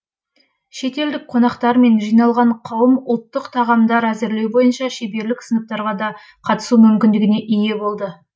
шетелдік қонақтар мен жиналған қауым ұлттық тағамдар әзірлеу бойынша шеберлік сыныптарға да қатысу мүмкіндігіне ие болды